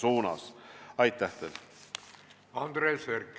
Andres Herkel, palun!